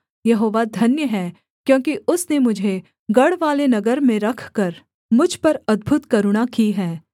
यहोवा धन्य है क्योंकि उसने मुझे गढ़वाले नगर में रखकर मुझ पर अद्भुत करुणा की है